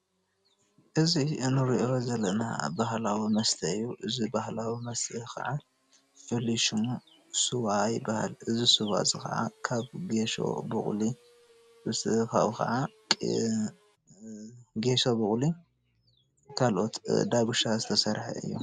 እዚ እንሪኦ ዘለና ባህላዊ መስተ እዩ። እዚ ባህላዊ መስተ ካዓ ፍሉይ ሽሙ ስዋ ይበሃል። እዚ ስዋ እዚ ካዓ ካብ ገሾ፣ ቡቑሊ፣ ካልኦት ዳጉሻ ዝተሰርሐ እዩ።